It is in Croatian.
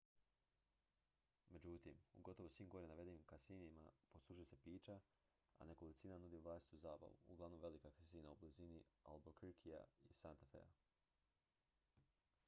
međutim u gotovo svim gore navedenim kasinima poslužuju se pića a nekolicina nudi vlastitu zabavu uglavnom velika kasina u blizini albuquerquea i santa fea